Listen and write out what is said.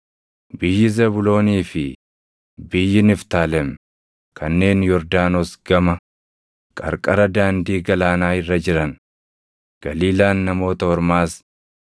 “Biyyi Zebuuloonii fi biyyi Niftaalem kanneen Yordaanos gama, qarqara Daandii Galaanaa irra jiran, Galiilaan Namoota Ormaas,